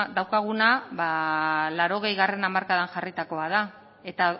daukaguna ba laurogeigarrena hamarkadan jarritakoa da eta